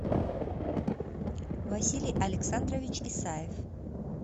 василий александрович исаев